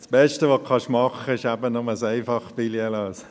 Das Beste, was Sie tun können, ist, ein Einfach-Ticket zu lösen!